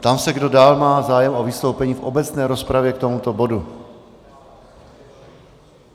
Ptám se, kdo dál má zájem o vystoupení v obecné rozpravě k tomuto bodu.